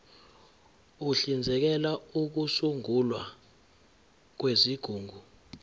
uhlinzekela ukusungulwa kwezigungu